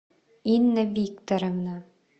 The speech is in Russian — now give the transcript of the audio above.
инна викторовна